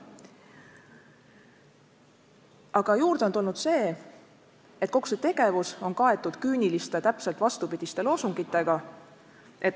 Aga juurde on tulnud see, et kogu see tegevus on kaetud küüniliste, täpselt vastupidiste loosungitega.